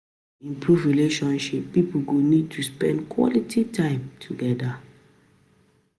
To improve relationship, pipo go need to spend quality time together